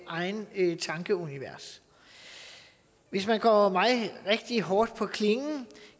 eget tankeunivers hvis man går mig rigtig hårdt på klingen